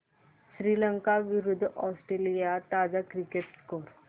श्रीलंका विरूद्ध ऑस्ट्रेलिया ताजा cricket score